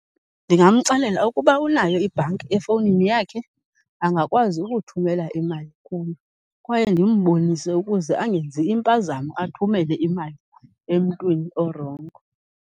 Ndingamxelela ukuba unayo ibhanki efowunini yakhe, angakwazi ukuthumela imali kuyo. Kwaye ndimbonise ukuze angenzi impazamo athumele imali emntwini orongo.